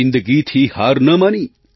જિંદગીથી હાર ન માની